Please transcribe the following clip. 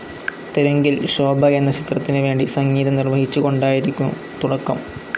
തെലുങ്കിൽ ശോഭ എന്ന ചിത്രത്തിന് വേണ്ടി സംഗീതം നിർവ്വഹിച്ചുകൊണ്ടായിരുന്നു തുടക്കം.